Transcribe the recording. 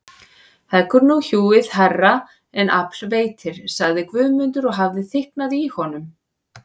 Heggur nú hjúið hærra en afl veitir, sagði Guðmundur og hafði þykknað í honum.